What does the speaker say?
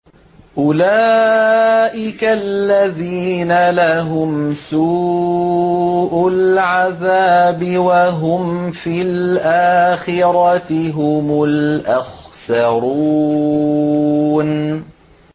أُولَٰئِكَ الَّذِينَ لَهُمْ سُوءُ الْعَذَابِ وَهُمْ فِي الْآخِرَةِ هُمُ الْأَخْسَرُونَ